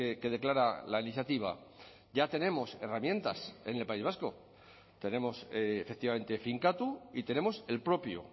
que declara la iniciativa ya tenemos herramientas en el país vasco tenemos efectivamente finkatu y tenemos el propio